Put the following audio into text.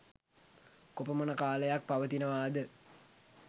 කොපමණ කාලයක් පවතිනවා ද?